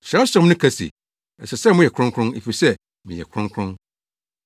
Kyerɛwsɛm no ka se, “Ɛsɛ sɛ moyɛ kronkron, efisɛ meyɛ kronkron.”